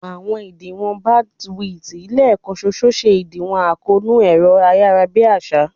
Àwọn ìdíwọ̀n bandwidth lẹ́ẹ̀kan ṣoṣo ṣe ìdíwọ̀n àkóónú ẹ̀rọ-ayárabíàsá